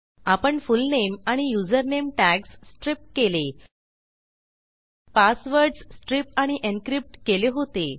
आपण फुलनेम आणि username tags stripकेले पासवर्डस स्ट्रिप आणि एन्क्रिप्ट केले होते